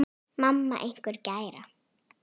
Mamma einhver gæra?